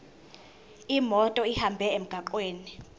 imoto ihambe emgwaqweni